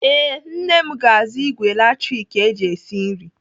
Ee, nne m ga-azụ ìgwè latrik eji esi nri.